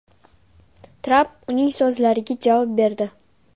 Tramp uning so‘zlariga javob berdi.